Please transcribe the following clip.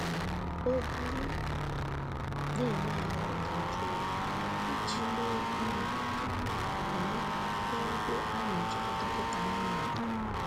O buru ịgba na eme ahụ́ dajụọ iji mee ihe tupu ya abanye n'ebe a na-echere dọkịta anụmanụ